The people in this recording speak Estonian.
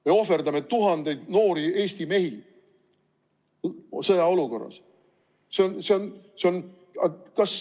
Me ohverdame sõjaolukorras tuhandeid noori Eesti mehi.